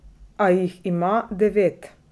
A jih ima devet!